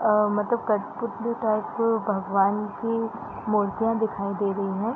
अ मतलब कटपुतली टाइप भगवान की मूर्तियां दिखाई दे रही है।